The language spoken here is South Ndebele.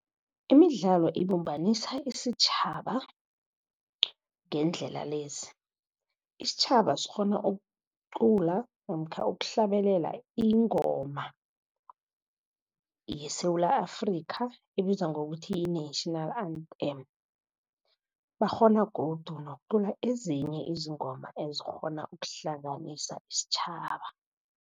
Imidlalo ibumbanisa isitjhaba ngeendlela lezi. Isitjhaba sikghona ukucula namkha ukuhlabelela ingoma yeSewula Afrikha, ebizwa ngokuthi yi-national anthem. Bakghona godu nokucula ezinye izingoma ezikghona ukuhlanganisa isitjhaba.